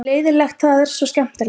leiðinlegt það er svo skemmtilegt